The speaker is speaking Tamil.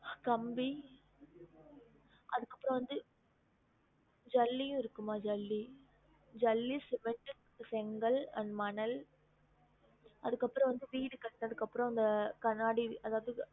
கம்பி அதுக்கு அப்புறம் வந்து ஜல்லியும் இருக்கும்மா ஜல்லி ஜல்லி, cement செங்கல் and மணல் அதுக்கு அப்பறம் வந்து வீடு கட்டுனதுக்கு அப்புறம் அந்த கண்ணாடி அதாவது